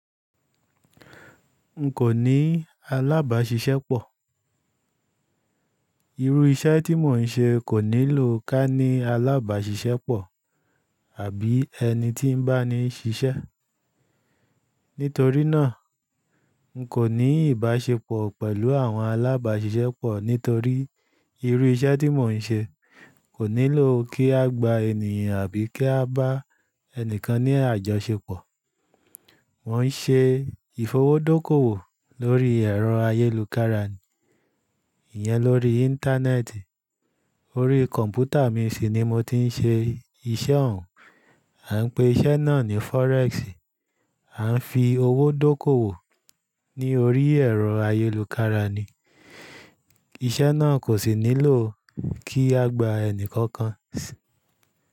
N kò ní alábàáṣiṣẹ́ pọ̀. Irú iṣẹ́ tí mò ń ṣe kò nílò kí á ní alábàáṣiṣẹ́ pọ̀ àbí ẹni tí ń bá ni ṣiṣẹ́. Nítorí náà, n kò ní ìbáṣepọ̀ pẹ̀lú àwọn alábàáṣiṣẹ́ pọ̀ nítorí irú iṣẹ́ tí mò ń ṣe kò nílò kí a gba ènìyàn àbí kí a bá ẹni kan ní àjọṣepọ̀. Mo ń ṣe ìfowó dókoòwò lórí ẹ̀rọ ayélukára, ìyẹn lórí Íńtánẹ́ẹ̀tì. Orí kọ̀m̀pútà mi sì ni mo ti ń ṣe iṣẹ́ òun. A ń pè iṣẹ́ náà ní fọrẹ́ẹ̀sì. A ń fi owó dókoòwò ní orí ẹ̀rọ ayélukára ni. Iṣẹ́ náà kò sì nílò kí a gba ẹni kankan sí.